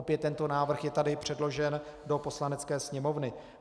Opět tento návrh je tady předložen do Poslanecké sněmovny.